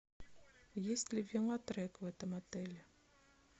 есть ли велотрек в этом отеле